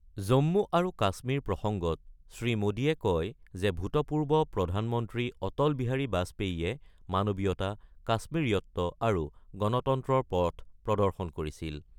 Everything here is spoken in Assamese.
জম্মু আৰু কাশ্মীৰ প্ৰসংগত শ্ৰীমোডীয়ে কয় যে ভূতপূৰ্ব প্ৰধানমন্ত্ৰী অটল বিহাৰী বাজপেয়ীয়ে মানৱীয়তা, কাশ্মিৰীয়ত্ব আৰু গণতন্ত্ৰৰ পথ প্ৰদৰ্শন কৰিছিল।